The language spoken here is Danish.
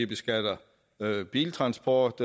beskatter biltransport